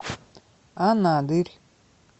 анадырь